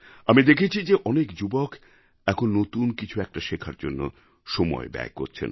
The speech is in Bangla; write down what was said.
আমি দেখেছি যে অনেক যুবক এখন নতুন কিছু একটা শেখার জন্য সময় ব্যয় করছেন